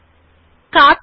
দেখুন সেটি কিভাবে করা যায়